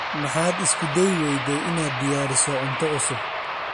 Maxaad isku dayi weyday inaad diyaariso cunto cusub?